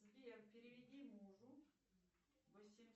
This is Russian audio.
сбер переведи мужу восемьсот